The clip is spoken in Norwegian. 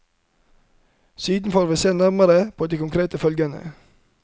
Siden får vi se nærmere på de konkrete følgene.